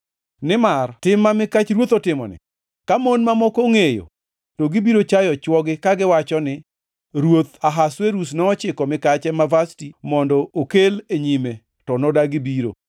Nimar tim ma mikach ruoth otimoni, ka mon mamoko ongʼeyo, to gibiro chayo chwogi kagiwacho ni, ‘Ruoth Ahasuerus nochiko mikache ma Vashti mondo okel e nyime, to nodagi biro.’